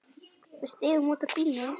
Við stigum út úr bílnum.